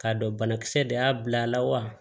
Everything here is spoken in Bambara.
K'a dɔn banakisɛ de y'a bila a la wa